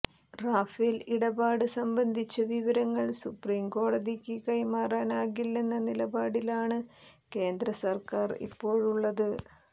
Rafale ഇടപാട് സംബന്ധിച്ച വിവരങ്ങൾ സുപ്രീംകോടതിക്ക് കൈമാറാനാകില്ലെന്ന നിലപാടിലാണ് കേന്ദ്ര സർക്കാർ ഇപ്പോഴുള്ളത്